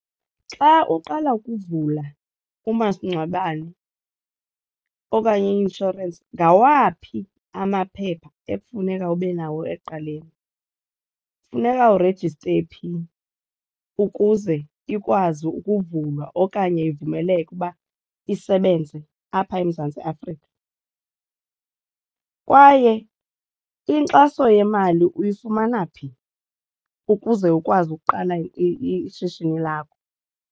Xa uqala ukuvula umasingcwabane okanye i-inshorensi ngawaphi amaphepha ekufuneka ube nawo ekuqaleni, funeka urejiste phi ukuze ikwazi ukuvulwa okanye ivumeleke uba isebenze apha eMzantsi Afrika, kwaye inkxaso yemali uyifumana phi ukuze ukwazi ukuqala ishishini lakho?